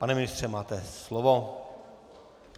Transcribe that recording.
Pane ministře, máte slovo.